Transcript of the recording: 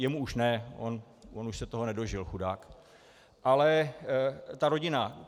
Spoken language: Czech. Jemu už ne, on už se toho nedožil, chudák, ale té rodině.